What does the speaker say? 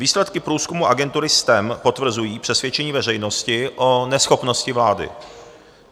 Výsledky průzkumu agentury STEM potvrzují přesvědčení veřejnosti o neschopnosti vlády.